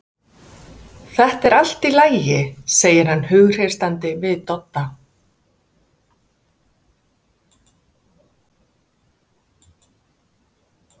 Þetta er allt í lagi, segir hann hughreystandi við Dodda.